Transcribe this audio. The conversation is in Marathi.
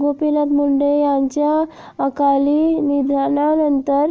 गोपीनाथ मुंडे यांच्या अकाली निधनानंतर